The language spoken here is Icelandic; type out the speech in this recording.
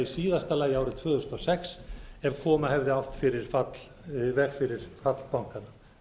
síðasta lagi árið tvö þúsund og sex ef koma hefði átt í veg fyrir fall bankanna